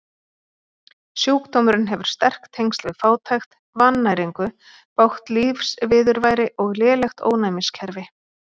Sjúkdómurinn hefur sterk tengsl við fátækt, vannæringu, bágt lífsviðurværi og lélegt ónæmiskerfi.